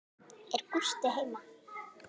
Er Gústi heima?